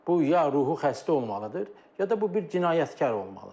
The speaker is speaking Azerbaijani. Bu ya ruhi xəstə olmalıdır, ya da bu bir cinayətkar olmalıdır.